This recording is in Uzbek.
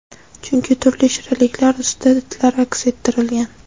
Chunki turli shirinliklar ustida itlar aks ettirilgan.